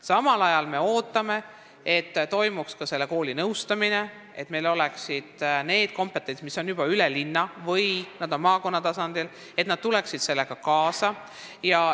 Samal ajal me ootame, et toimuks ka selle kooli nõustamine ning et kool tuleks kaasa ja saaks osa sellest kompetentsusest, mis on juba üle linna või maakonna tasandil olemas.